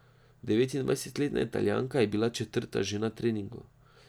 Devetindvajsetletna Italijanka je bila četrta že na treningu.